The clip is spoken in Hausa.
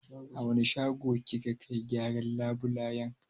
A wani shago kika kai gyaran labulayen.